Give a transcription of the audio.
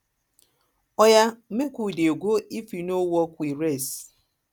oya make we dey go if e no work we rest